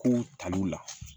Kow taliw la